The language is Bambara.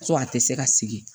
Ko a tɛ se ka sigi